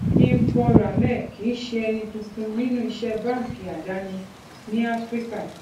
jeanpaul ramé kì í ṣe ẹni tuntun nínú iṣẹ báńkì àdáni ní áfíríkà